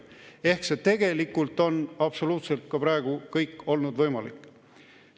Ehk siis tegelikult on ka praegu absoluutselt kõik olnud võimalik.